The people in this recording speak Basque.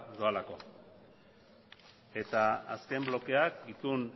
doalako eta azken blokeak itun